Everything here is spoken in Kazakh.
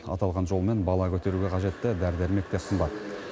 аталған жолмен бала көтеруге қажетті дәрі дәрмек те қымбат